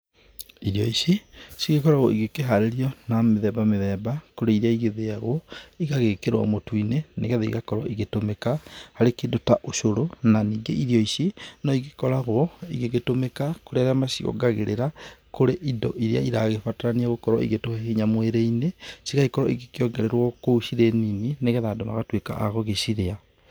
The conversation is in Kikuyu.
Irio ici cigĩkoragwo igĩkĩharĩrio na mĩthemba mĩthemba. Kũrĩ irĩa igĩthĩagwo, igagĩkĩrwo mũtu-inĩ, nĩgetha igakorwo igĩtũmĩka harĩ kĩndũ ta ũcũrũ. Na ningĩ irio ici no igĩkoragwo igĩtũmĩka kũrĩ arĩa maciongagĩrĩra kũrĩ indo irĩa iragĩbatarania gũkorwo igĩtũhe hinya mwĩri-inĩ cigagĩkorwo igĩkĩongererwo kũu cirĩ nini, nĩgetha andũ magatuĩka a gũgĩcirĩa.